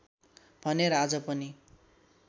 भनेर आज पनि